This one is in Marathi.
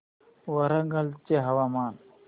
वरंगल चे हवामान